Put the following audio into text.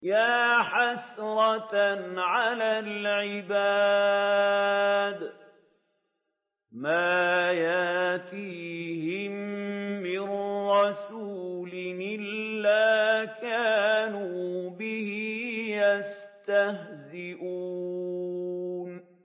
يَا حَسْرَةً عَلَى الْعِبَادِ ۚ مَا يَأْتِيهِم مِّن رَّسُولٍ إِلَّا كَانُوا بِهِ يَسْتَهْزِئُونَ